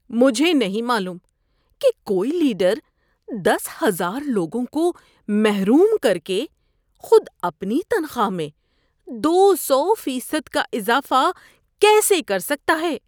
مجھے نہیں معلوم کہ کوئی لیڈر دس ہزار لوگوں کو محروم کرکے خود اپنی تنخواہ میں دو سو فیصد کا اضافہ کیسے کر سکتا ہے۔